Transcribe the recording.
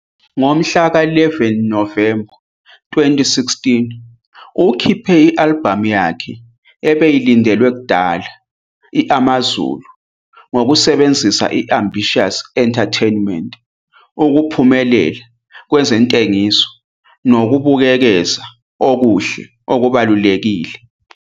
Ngomhlaka 11 Novemba 2016, ukhiphe i-albhamu yakhe ebeyilindelwe kudala i-Amazulu ngokusebenzisa i-Ambitiouz Entertainment ukuphumelela kwezentengiso nokubukeza okuhle okubalulekile.